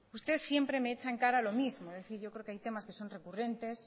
usted siempre me echa en cara lo mismo es decir yo creo que hay temas que son recurrentes